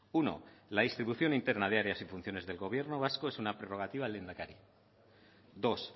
uno la distribución interna de áreas y funciones del gobierno vasco es una prerrogativa al lehendakari dos